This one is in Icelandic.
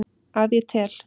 Að ég tel.